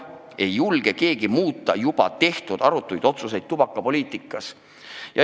Keegi ei julge muuta juba tehtud arutuid otsuseid tubakapoliitika kohta.